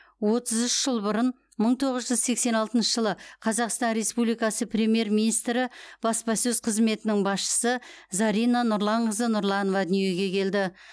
отыз үш жыл бұрын мың тоғыз жүз сексен алтыншы жылы қазақстан республикасы премьер министрі баспасөз қызметінің басшысы зарина нұрланқызы нұрланова дүниеге келді